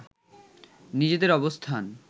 নিজেদের অবস্থান